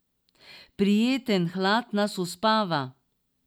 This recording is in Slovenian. Prijeten hlad nas uspava.